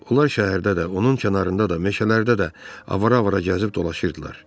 Onlar şəhərdə də, onun kənarında da, meşələrdə də avar-avara gəzib dolaşırdılar.